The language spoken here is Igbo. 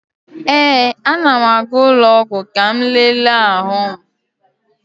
Ee, a na m aga ụlọ ọgwụ ka m lele ahụ m.